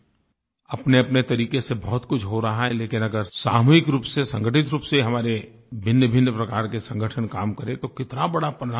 अपनेअपने तरीक़े से बहुतकुछ हो रहा है लेकिन अगर सामूहिक रूप से संगठित रूप से हमारे भिन्नभिन्न प्रकार के संगठन काम करें तो कितना बड़ा परिणाम दे सकते हैं